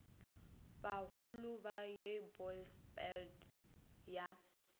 bagolo ba ye bosberad ya